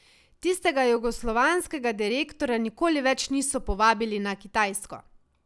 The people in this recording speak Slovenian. Tistega jugoslovanskega direktorja nikoli več niso povabili na Kitajsko.